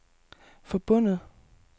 forbundet